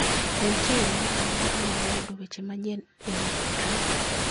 Be nitie yo moro amora mar yudo weche manyien e wi Trump?